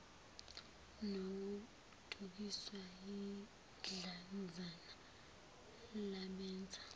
nokudukiswa yidlanzana labenza